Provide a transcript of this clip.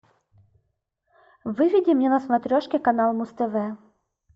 выведи мне на смотрешке канал муз тв